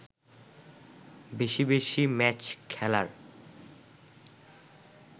বেশি বেশি ম্যাচ খেলার